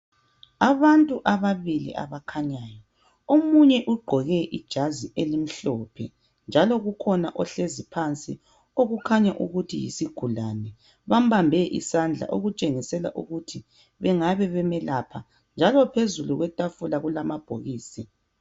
Ababili abakhanyayo. Omunye ugqoke ijazi elimhlophe njalo kukhona ohlezi phansi okukhanya ukuthi yisigulane. Bambambe isandla okutshengisela ukuthi bengabe bemelapha njalo phezulu kwetafula kulamabhokisi.